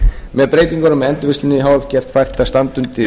með breytingunum er endurvinnslunni h f gert fært að standa